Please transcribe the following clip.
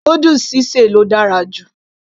noodles sí sè ló dára jù